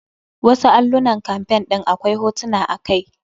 Wasu allunan campaing ɗin akwai hotuna a kai.